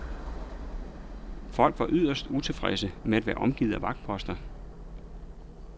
Folk var yderst utilfredse med at være omgivet af vagtposter.